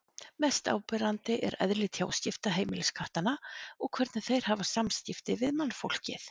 Mest áberandi er eðli tjáskipta heimiliskattanna og hvernig þeir hafa samskipti við mannfólkið.